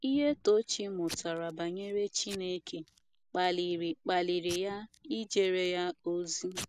Ihe Tochi mụtara banyere Chineke kpaliri kpaliri ya ijere Ya ozi.